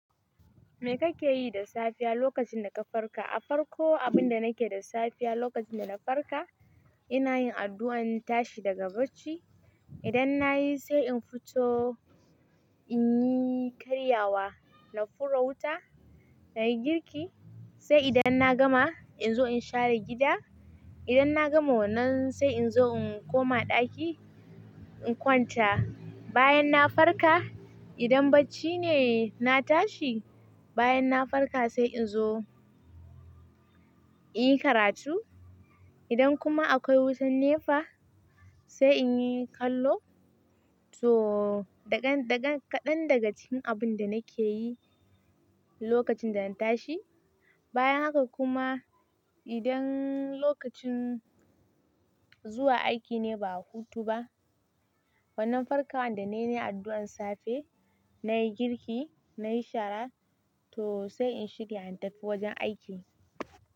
Me kake yi da safiya lokacin da ka farka? A farko abun da nake da safiya lokacin da na farka, ina yin addu'ar tashi daga bacci. Idan na yi sai in fito in yi karyawa, na fura wuta, na yi girki. Sai idan na gama in zo in share gida. Idan na gama wannan sai in zo in koma ɗaki in kwanta. Bayan na farka, idan bacci ne na tashi, bayan na farka sai in zo in yi karatu. Idan kuma akwai wutan NEPA, sai in yi kallo. To, da ga kaɗan daga cikin abun da nake yi lokacin da na tashi. Bayan haka kuma idan lokacin zuwa aiki ne ba hutu ba, wannan farkawan da nayi nayi addu'ar safe, na yi girki, na yi shara, to sai in shirya in tafi wajen aiki.